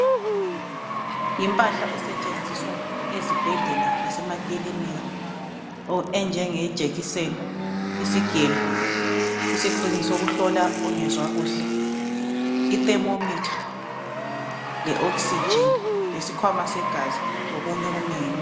Yimpahla esetshenziswa ezibhedlela lasemakilinika enjenge jekiseni, isigelo, isigxingi sokuhlola ongezwa kuhle,i"Thermometer", le "oxygen" ,lesikhwama segazi lokunye okunengi nengi.